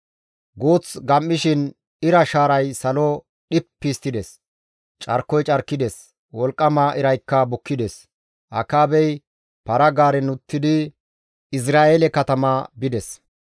Guuth gam7ishin ira shaaray salo dhippi histtides; carkoy carkides; wolqqama iraykka bukkides. Akaabey para-gaaren uttidi Izra7eele katama bides.